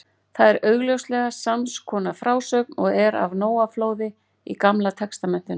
Það er augljóslega sams konar frásögn og er af Nóaflóði í Gamla testamentinu.